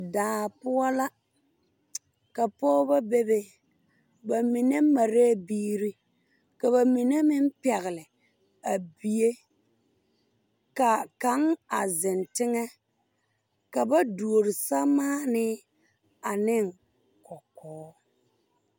Daa poɔ la ka pogebɔ bebe ba mine mareɛɛ biire ka ba mine meŋ pɛgle a bie kaa kaŋ a zeŋ teŋɛ ka ba duore sɛmaanii aneŋ kɔkɔɔ.